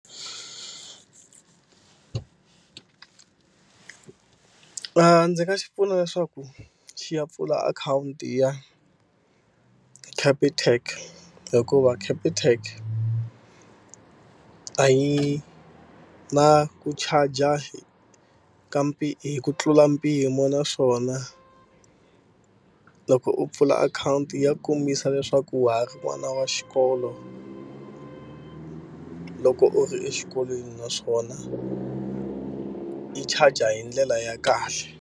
Ndzi nga xi pfuna leswaku xi ya pfula akhawunti ya Capitec hikuva Capitec a yi na ku charger ka hi ku tlula mpimo naswona loko u pfula akhawunti ya ku kombisa leswaku wa ha ri n'wana wa xikolo loko u ri exikolweni naswona yi charger hi ndlela ya kahle.